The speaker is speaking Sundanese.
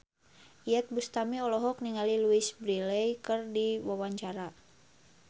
Iyeth Bustami olohok ningali Louise Brealey keur diwawancara